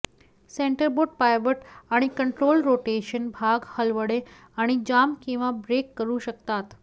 centreboard pivot आणि control rotation भाग हलवणे आणि जाम किंवा ब्रेक करू शकतात